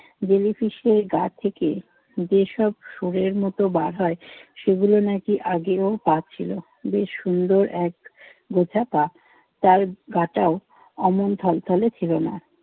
Jellyfish এর গা থেকে যেসব সুরের মতো বার হয় সেগুলো নাকি আগে ওর পা ছিল। বেশ সুন্দর এক গোছা পা। তার গাটাও অমন থলথলে ছিল না।